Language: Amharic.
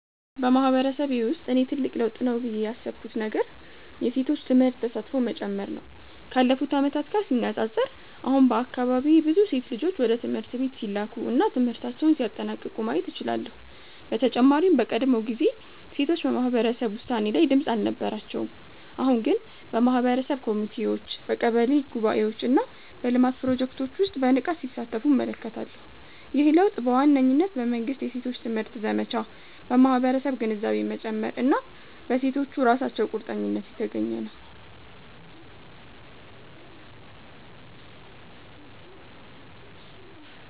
በማህበረሰቤ ውስጥ እኔ ትልቅ ለውጥ ነው ብዬ ያሰብኩት ነገር የሴቶች ትምህርት ተሳትፎ መጨመር ነው። ካለፉት ዓመታት ጋር ሲነጻጸር፣ አሁን በአካባቢዬ ብዙ ሴት ልጆች ወደ ትምህርት ቤት ሲላኩ እና ትምህርታቸውን ሲያጠናቅቁ ማየት እችላለሁ። በተጨማሪም በቀድሞ ጊዜ ሴቶች በማህበረሰብ ውሳኔ ላይ ድምጽ አልነበራቸውም፤ አሁን ግን በማህበረሰብ ኮሚቴዎች፣ በቀበሌ ጉባኤዎች እና በልማት ፕሮጀክቶች ውስጥ በንቃት ሲሳተፉ እመለከታለሁ። ይህ ለውጥ በዋነኝነት በመንግሥት የሴቶች ትምህርት ዘመቻ፣ በማህበረሰብ ግንዛቤ መጨመር እና በሴቶቹ ራሳቸው ቁርጠኝነት የተገኘ ነው።